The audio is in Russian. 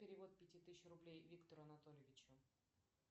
перевод пяти тысяч рублей виктору анатольевичу